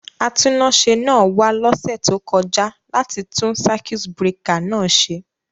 Atúnáṣe náà wa lósẹ̀ to kojá láti tun circuit breaker náà se